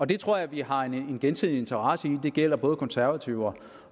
det tror jeg vi har en gensidig interesse i det gælder både konservative